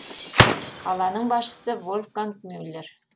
қаланың басшысы вольфганг мюллер